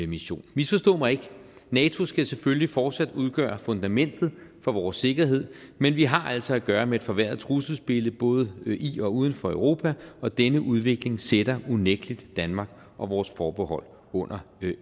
mission misforstå mig ikke nato skal selvfølgelig fortsat udgøre fundamentet for vores sikkerhed men vi har altså at gøre med et forværret trusselsbillede både i og uden for europa og denne udvikling sætter unægtelig danmark og vores forhold under